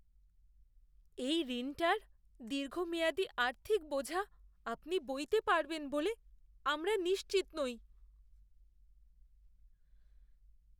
এই ঋণটার দীর্ঘমেয়াদি আর্থিক বোঝা আপনি বইতে পারবেন বলে আমরা নিশ্চিত নই।